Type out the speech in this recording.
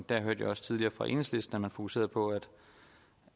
der hørte jeg også tidligere fra enhedslisten at man fokuserede på